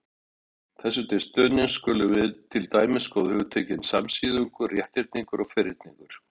Þessu til stuðnings skulum við til dæmis skoða hugtökin samsíðungur, rétthyrningur og ferningur.